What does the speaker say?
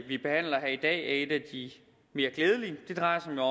vi behandler her i dag er et af de mere glædelige det drejer sig